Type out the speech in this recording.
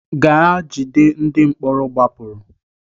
Gaa jide ndị mkpọrọ gbapụrụ!